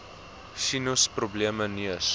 sinus probleme neus